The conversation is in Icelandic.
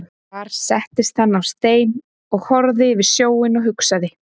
Þar settist hann á stein og horfði yfir sjóinn og hugsaði.